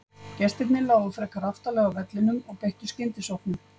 Gestirnir lágu frekar aftarlega á vellinum og beittu skyndisóknum.